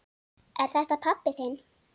Er þetta pabbi þinn?